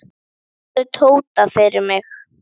Passaðu Tóta fyrir mig.